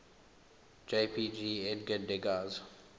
jpg edgar degas